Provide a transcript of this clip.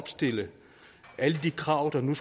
den